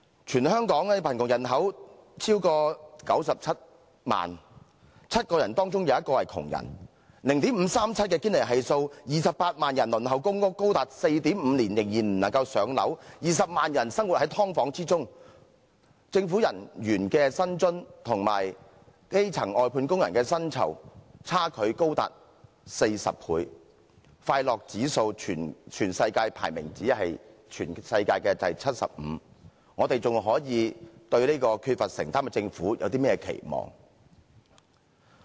全香港的貧窮人口超過97萬 ，7 個人當中有1個是窮人，堅尼系數是 0.537， 有28萬人輪候公共房屋，高達 4.5 年仍然未能上樓，有20萬人生活在"劏房"中，政府人員的薪津和基層外判工人的薪酬差距高達40倍，快樂指數全世界排名只佔第七十五，我們還可以對這個缺乏承擔的政府有甚麼期望？